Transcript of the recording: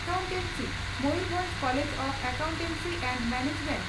accountancy (Mayurbhanj college of accountancy and management